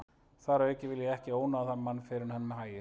Þar að auki vil ég ekki ónáða þann mann fyrr en um hægist.